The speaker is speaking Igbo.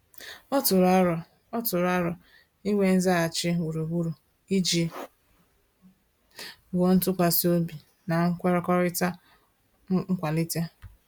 Ọ tụrụ arọ Ọ tụrụ arọ inwe nzaghachi gburugburu iji wuo ntụkwasị obi na nkwekọrịta nkwalite